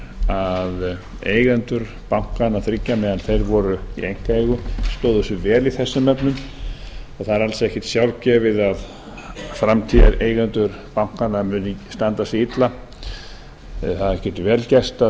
að eigendur bankanna þriggja meðan þeir voru í einkaeigu stóðu sig vel í þessum efnum og það er alls ekkert sjálfgefið að framtíðareigendur bankanna muni standa sig illa það getur vel gerst að